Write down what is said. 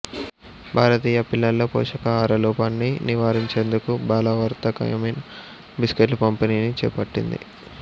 భారతీయ పిల్లల్లో పోషకాహార లోపాన్ని నివారించేందుకు బలవర్ధకమైన బిస్కట్ల పంపిణీని చేపట్టింది